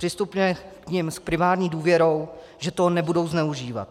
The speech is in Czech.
Přistupme k nim s primární důvěrou, že toho nebudou zneužívat.